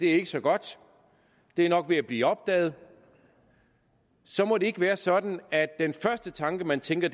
er så godt det er nok ved at blive opdaget så må det ikke være sådan at den første tanke man tænker